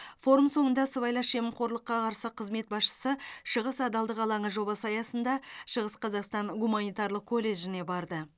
форум соңында сыбайлас жемқорлыққа қарсы қызмет басшысы шығыс адалдық алаңы жобасы аясында шығыс қазақстан гуманитарлық колледжіне барды